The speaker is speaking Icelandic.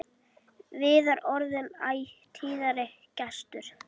Viðar orðinn æ tíðari gestur.